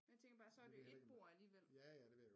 Men jeg tænker bare så er det jo et bord alligevel